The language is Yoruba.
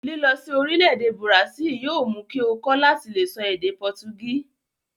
Lilọ sí orílẹ̀-èdè bùràsílì yóò mú kí ó kọ́ láti le sọ èdè pọtugísì.